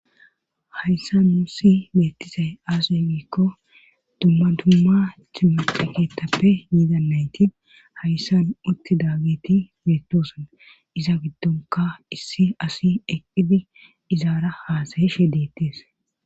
Hayssa muussi beettisay aasey giikko dumma tumma cimuqi keetappe yiidannayti hayssan utti daagiti beettosona iza giddonka issi asi eqqidi izaara haasayishe deettees